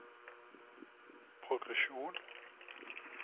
progresjon